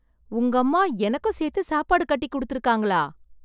உங்கம்மா, எனக்கும் சேர்த்து சாப்பாடு கட்டி குடுத்துருக்காங்களா...